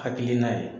Hakilina ye